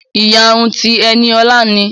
Ìyárún ti Eniolá ni.